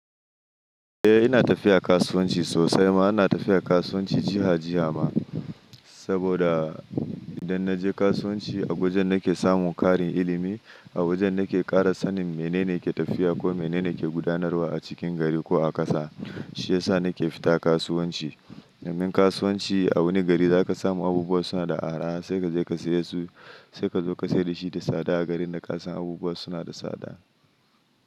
Eh ina tafiya kasuwanci sosai ma. Ina tafiya kasuwanci jiha jiha ma, saboda idan na je kasuwanci a wajen nake samun ƙarin ilimi, a wajen nake ƙara sanin menene ke tafiya ko menene ke gudanarwa a cikin gari ko a ƙasa. Shi yasa nake fita kasuwanci. Domin kasuwanci a wani gari za ka samu abubuwa suna da araha sai ka je ka saya su, sai ka zo ka sayar da shi da tsada a garin da ƙasan abubuwa suna da tsada.